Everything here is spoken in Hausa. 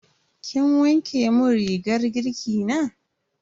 Kin wanke mun rigar girki na?